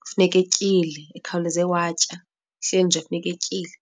kufuneka etyile, ekhawuleze watya, kuhleli nje funeka etyile.